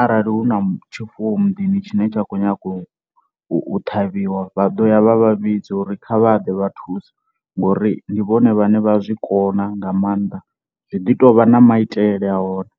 arali hu na tshifuwo muḓini tshine tsha khou nyanga u u ṱhavhiwa vha ḓo ya vha vha vhidza uri kha vha ḓe vha thuse ngori ndi vhone vhane vha zwikona nga maanḓa, zwi ḓi tovha na maitele a hone.